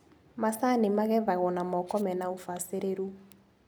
Macani magethagwo na moko mena ũbacĩrĩru.